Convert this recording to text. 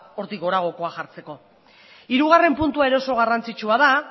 hortik goragokoa jartzeko hirugarren puntua ere oso garrantzitsua da